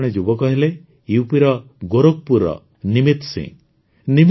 ଏପରି ଜଣେ ଯୁବକ ହେଲେ ୟୁପିର ଗୋରଖପୁର ନିମିତ ସିଂହ